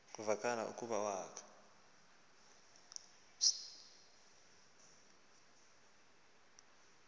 kuvakala ukuba wakha